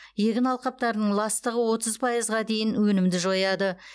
егін алқаптарының ластығы отыз пайызға дейін өнімді жояды